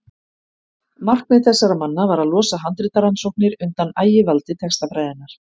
markmið þessara manna var að losa handritarannsóknir undan ægivaldi textafræðinnar